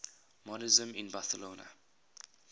modernisme in barcelona